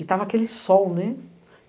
E tava aquele sol, né?